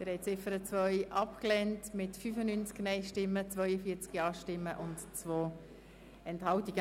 Sie haben die Ziffer 2 abgelehnt mit 95-Nein- gegen 42 Ja-Stimmen bei 2 Enthaltungen.